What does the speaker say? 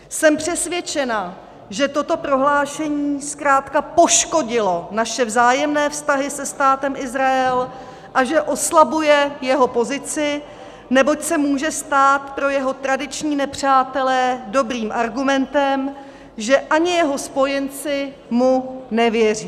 Jsem přesvědčena, že toto prohlášení zkrátka poškodilo naše vzájemné vztahy se Státem Izrael a že oslabuje jeho pozici, neboť se může stát pro jeho tradiční nepřátele dobrým argumentem, že ani jeho spojenci mu nevěří.